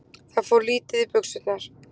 Það fór örlítið í buxurnar.